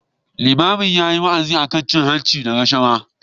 Limamin yayi wa'azi akan cin hanci da rashawa.